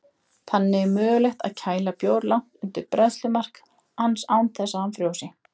Þannig er mögulegt að kæla bjór langt undir bræðslumark hans án þess að hann frjósi.